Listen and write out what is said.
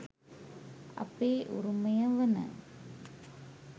අපේ උරුමය වන